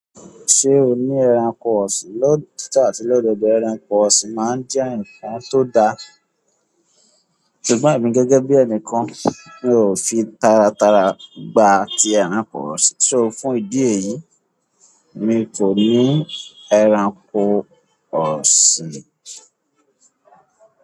Ṣé o ní ẹranko ọ̀sìn? Lóòtítọ́ àti lódodo ẹranko ọ̀sìn máa ń jẹ́ ǹkan tó da. Ṣùgbọ́n èmi gẹ́gẹ́ bí ẹnìkan, mi ò fi taratara gba ti ẹranko ọ̀sìn, so fún ìdí èyí, mi kọ́ ní ẹranko ọ̀sìn.